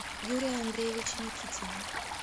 юрия андреевича никитина